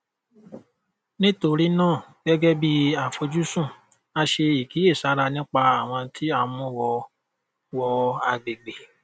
nítorí náà gẹgẹ bí àfojúsùn a ṣe ìkíyèsára nípa àwọn tí à ń mú wọ wọ agbègbè